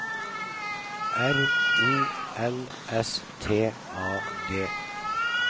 R O L S T A D